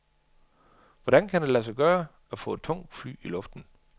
Hvordan kan det lade sig gøre at få et tungt fly i luften?